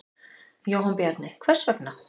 Jóhann Bjarni: Hvers vegna?